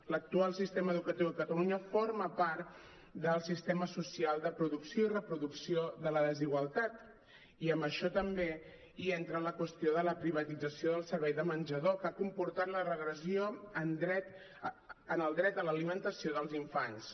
l’actual sistema educatiu a catalunya forma part del sistema social de producció i reproducció de la desigualtat i en això també hi entra la qüestió de la privatització del servei de menjador que ha comportat la regressió en el dret a l’alimentació dels infants